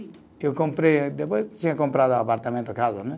Eu comprei, depois tinha comprado apartamento, casa, né?